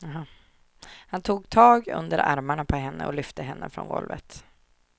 Han tog tag under armarna på henne och lyfte henne från golvet.